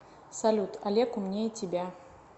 салют олег умнее тебя